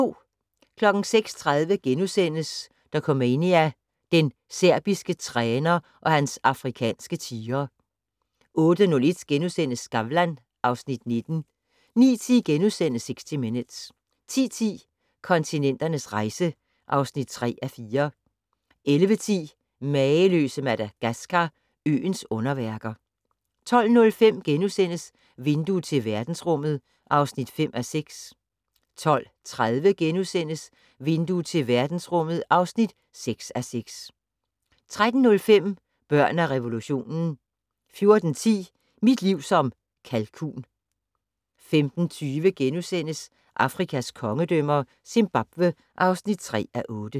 06:30: Dokumania: Den serbiske træner og hans afrikanske tigre * 08:01: Skavlan (Afs. 19)* 09:10: 60 Minutes * 10:10: Kontinenternes rejse (3:4) 11:10: Mageløse Madagaskar - øens underværker 12:05: Vindue til verdensrummet (5:6)* 12:30: Vindue til verdensrummet (6:6)* 13:05: Børn af revolutionen 14:10: Mit liv som en kalkun 15:20: Afrikas kongedømmer - Zimbabwe (3:8)*